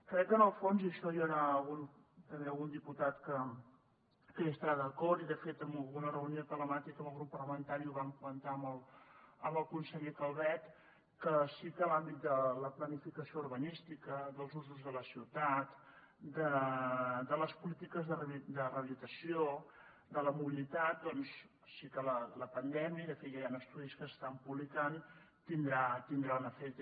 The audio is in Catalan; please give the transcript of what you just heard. crec que en el fons i amb això hi haurà també algun diputat que hi estarà d’acord i de fet en alguna reunió telemàtica amb el grup parlamentari ho vam comentar amb el conseller calvet que sí que l’àmbit de la planificació urbanística dels usos de la ciutat de les polítiques de rehabilitació de la mobilitat doncs sí que la pandèmia i de fet ja hi han estudis que s’estan publicant tindrà un efecte